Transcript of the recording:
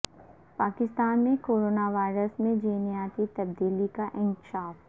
پاکستان میں corona virus میں جینیاتی تبدیلی کا انکشاف